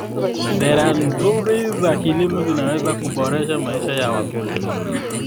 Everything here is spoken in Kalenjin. Sera nzuri za kilimo zinaweza kuboresha maisha ya wakulima.